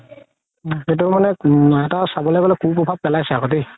এইটো মানে এটা চাবলৈ গ'লে কু চভাব পেলাইছে আকৌ দেই